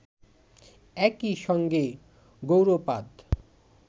একই সঙ্গে গৌড়পাদ